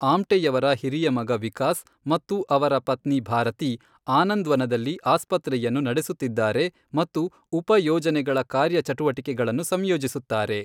ಆಮ್ಟೆಯವರ ಹಿರಿಯ ಮಗ ವಿಕಾಸ್ ಮತ್ತು ಅವರ ಪತ್ನಿ ಭಾರತಿ ಆನಂದ್ವನದಲ್ಲಿ ಆಸ್ಪತ್ರೆಯನ್ನು ನಡೆಸುತ್ತಿದ್ದಾರೆ ಮತ್ತು ಉಪ ಯೋಜನೆಗಳ ಕಾರ್ಯಚಟುವಟಿಕೆಗಳನ್ನು ಸಂಯೋಜಿಸುತ್ತಾರೆ.